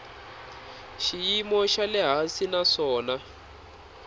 xiyimo xa le hansi naswona